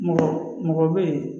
Mɔgɔ mɔgɔ bɛ ye